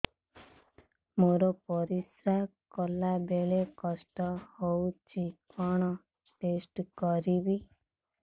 ମୋର ପରିସ୍ରା ଗଲାବେଳେ କଷ୍ଟ ହଉଚି କଣ ଟେଷ୍ଟ କରିବି